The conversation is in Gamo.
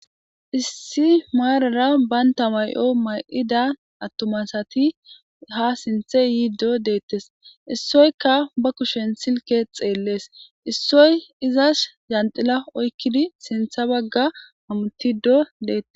issi maarara banta may7o ma7ida attumasati ha sinthe yiiddo deettes issoyka ba kushen silke xeellees issoy izas janxila oykkidi sintha bagga hamutido deetes